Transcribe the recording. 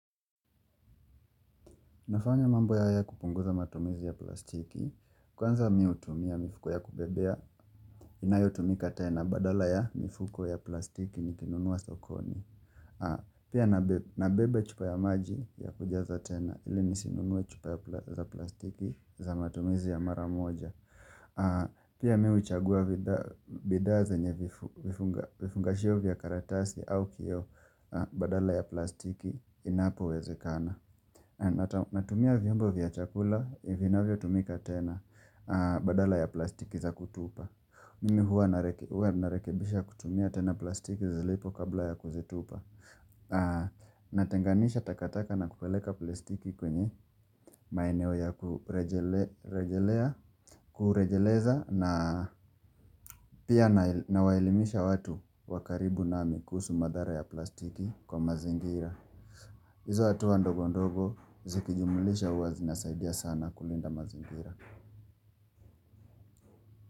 Nafanya mambo haya kupunguza matumizi ya plastiki, kwanza mimi hutumia mifuko ya kubebea, inayotumika tena badala ya mifuko ya plastiki nikinunua sokoni. Pia nabeba chupa ya maji ya kujaza tena ili nisinunue chupa ya plastiki za matumizi ya mara moja. Pia mimi huchagua bidhaa zenye vifungashio vya karatasi au kioo badala ya plastiki inapowezekana. Natumia vyombo vya chakula, vinavyotumika tena badala ya plastiki za kutupa Mimi huwa narekebisha kutumia tena plastiki zilipo kabla ya kuzitupa Natenganisha takataka na kupeleka plastiki kwenye maeneo ya kurejelea Kurejeleza na pia nawaelimisha watu wa karibu nami kuhusu madhara ya plastiki kwa mazingira hizo hatua ndogo ndogo zikijumulisha huwa zinasaidia sana kulinda mazingira.